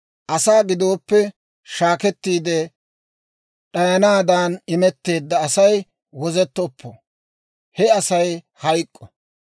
Asaa giddoppe shaakettiide d'ayanaadan imetteedda Asay wozettoppo; he Asay hayk'k'o.